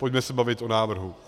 Pojďme se bavit o návrhu.